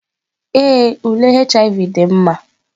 Ee, ule HIV dị mma.